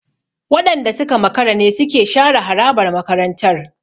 Waɗanda suka makara ne suke share harabar makarantar.